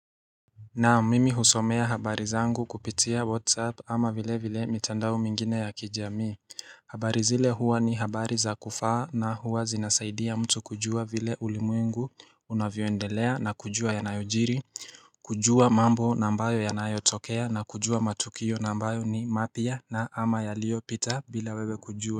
Naam mimi husomea habari zangu kupitia whatsapp ama vile vile mitandao mingine ya kijamii habari zile huwa ni habari za kufaa na huwa zinasaidia mtu kujua vile ulimwengu unavyoendelea na kujua yanayojiri kujua mambo na ambayo yanayotokea na kujua matukio na ambayo ni mapya na ama yaliyopita bila wewe kujua.